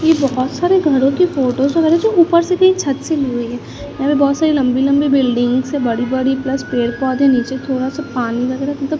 ये बहोत सारे घरों की फोटोज वगैरा जो उपर से भी छत से ली हुई है यहाँ पे बहोत सारी लंबी लंबी बिल्डिंग्स है बड़ी बड़ी प्लस पेड़ पौधे नीचे थोड़ा सा पानी लग रहा मतलब--